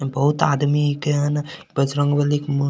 बहुत आदमी केहेन बजरंगबली के मु --